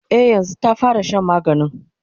e yanzun ta fara Shan maganin